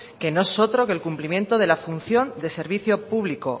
que no es otro que el cumplimiento de la función de servicio público